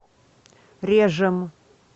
режем